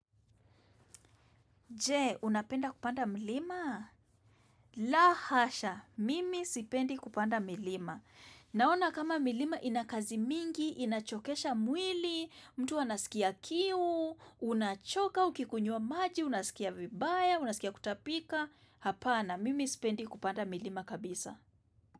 Je, unapenda kupanda milima? La hasha, mimi sipendi kupanda milima. Naona kama milima ina kazi mingi, inachokesha mwili, mtu anasikia kiu, unachoka, ukikunywa maji, unasikia vibaya, unasikia kutapika. Hapana, mimi sipendi kupanda milima kabisa.